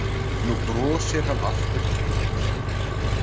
Nú brosir hann aftur breitt.